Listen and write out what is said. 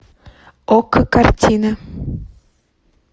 окко картины